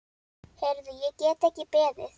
Heyrðu, ég get ekki beðið.